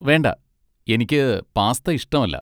വേണ്ട, എനിക്ക് പാസ്ത ഇഷ്ടമല്ല.